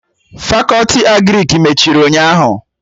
Fakọti Agrịk mechiri ụnyaahụ